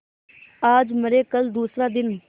आज मरे कल दूसरा दिन